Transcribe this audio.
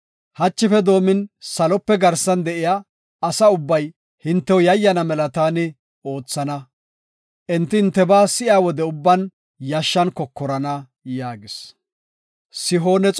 Hachife doomin salope garsan de7iya asa ubbay hintew yayyana mela taani oothana. Enti hintebaa si7iya wode ubban yashshan kokorana” yaagis.